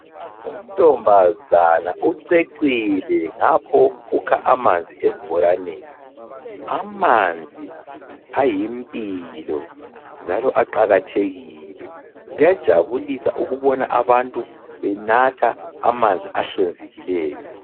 Untombazana ucecile ngapho ukha amanzi esibhoraneni. Amanzi ayimpilo njalo aqakathekile. Kuyajabulisa ukubona abantu benatha amanzi ahlanzekileyo.